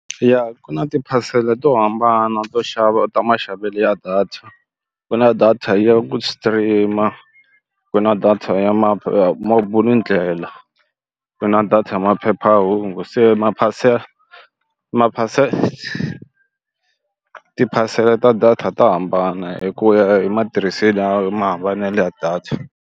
Ya ku na tiphasela to hambana to xava u ta maxavelo ya data ku na data ya ku stream-a ku na data ya ndlela ku na na data maphephahungu se maphasela maphasela tiphasela ta data ta hambana hi ku ya hi matirhiselo ya mahambanelo ya data.